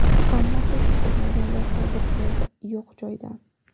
Hammasi kutilmaganda sodir bo‘ldi, yo‘q joydan”.